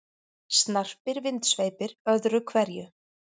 Snarpir vindsveipir öðru hverju.